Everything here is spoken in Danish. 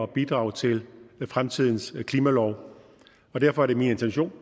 og bidrage til fremtidens klimalov og derfor er det min intention